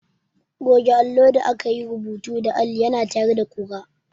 Goge allo da aka yi rubutu da alli ya na tayar da ƙura.